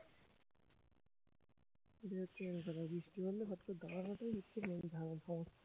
সেটাই হচ্ছে main কথা বৃষ্টি পড়লে ফটকরে গায়ে হাতে